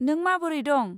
नों माबोरै दं?